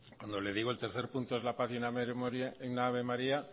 cuando le digo el tercer punto es la página en ave maría